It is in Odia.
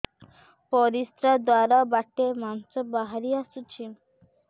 ପରିଶ୍ରା ଦ୍ୱାର ବାଟେ ମାଂସ ବାହାରି ଆସୁଛି